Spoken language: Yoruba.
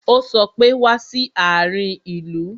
Ó sọ pé "Wá sí àárín ìlú"